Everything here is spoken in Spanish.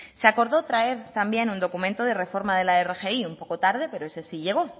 se acordó traer también un documento de reforma de la rgi un poco tarde pero ese sí llegó